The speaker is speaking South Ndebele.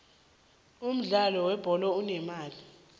umudlalo we bholo unemali